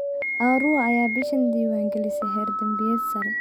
Arua ayaa bishan diiwaan galisay heer dambiyeed sare.